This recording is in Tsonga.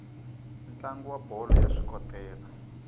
ntlangu wa bolo ya swikotela